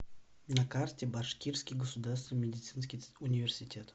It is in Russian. на карте башкирский государственный медицинский университет